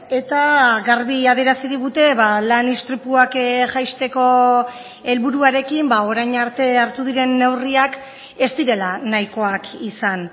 eta garbi adierazi digute lan istripuak jaisteko helburuarekin orain arte hartu diren neurriak ez direla nahikoak izan